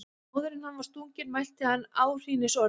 Áður en hann var stunginn mælti hann áhrínisorð.